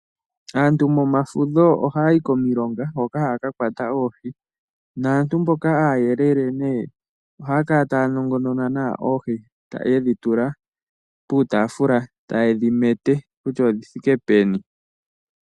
Aantu momafudho oha ya yi komilonga hoka ha ya ka kwata oohi, naantu mboka aayelele ne oha ya kala taya nongonona oohi ye dhi tula puutafula ta ye dhi mete kusha odhi thike peni.